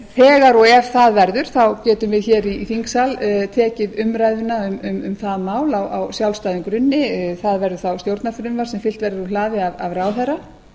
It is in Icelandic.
þegar og ef það verður getum við hér í þingsal tekið umræðuna um það mál á sjálfstæðum grunni það verður þá stjórnarfrumvarp sem fylgt verður úr hlaði af ráðherra